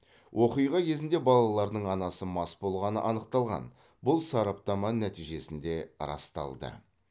оқиға кезінде балалардың анасы мас болғаны анықталған бұл сараптама нәтижесінде расталды